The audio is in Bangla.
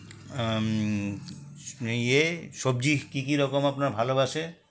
আমম্ ইয়ে সবজি কী কী রকম আপনার ভালোবাসে